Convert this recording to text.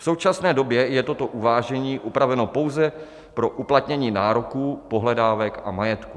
V současné době je toto uvážení upraveno pouze pro uplatnění nároků, pohledávek a majetku.